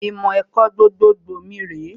Ìmọ̀ ẹ̀kọ́ gbogbogbò mi rèé